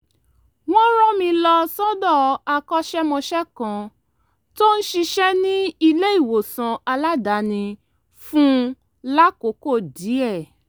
wọ́n rán mi lọ sọ́dọ̀ akọ́ṣẹ́mọṣẹ́ kan tó ń ṣiṣẹ́ ní ilé-ìwòsàn aládàání fún lákòókò díẹ̀